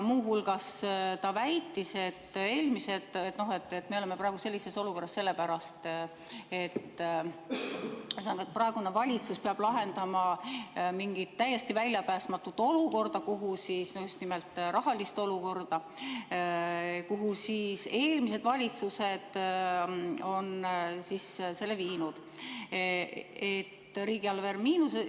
Muu hulgas ta väitis, et me oleme praegu sellises olukorras sellepärast, ühesõnaga, et praegune valitsus peab lahendama mingit täiesti väljapääsmatut olukorda, just nimelt rahalist olukorda, kuhu eelmised valitsused on viinud.